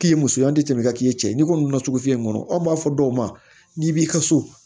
K'i ye muso ye an tɛ tɛmɛ ka k'i cɛ ye n'i kɔni nana sugu in kɔnɔ anw b'a fɔ dɔw ma n'i b'i ka so